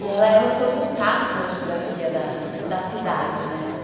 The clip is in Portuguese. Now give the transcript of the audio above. E ela é o seu contato com a geografia da da cidade, né?